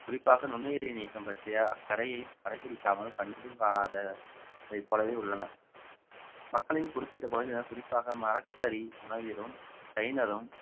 குறிப்பாக நுண்ணுயிரி நீக்கம் பற்றிய அக்கறையை கடைபிடிக்காமல் கண்டும் காணாததை போலவே உள்ளன மக்களின் குறிப்பிட்ட பகுதியினர் குறிப்பாக மரக்கரி உணவீரும் சைனரும்